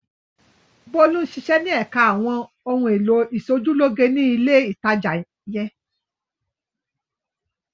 Bólú ń ṣiṣẹ́ ní ẹ̀ka àwọn ohun-èlò ìṣojúlóge ní ilé-ìtajà yẹn.